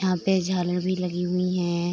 यहाँ पे झालर भी लगी हुईं हैं।